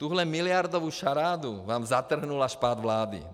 Tuhle miliardovou šarádu vám zatrhl až pád vlády.